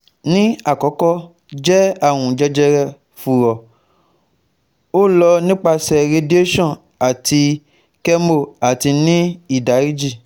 Ni akọkọ jẹ arun jejere furo, o lọ nipasẹ radiation ati chemo ati ni idariji